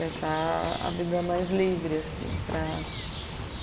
Deixar a vida mais livre, assim, para